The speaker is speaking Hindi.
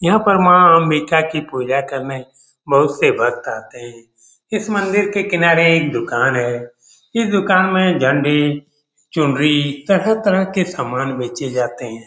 यहाँ पर माँ अम्बिका के पूजा करने बहुत से भक्त आते हैं इस मंदिर के किनारे एक दुकान है ये दुकान में झंडी चुनरी तरह-तरह के सामान बेचे जाते हैं ।